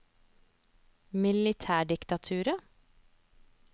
militærdiktaturet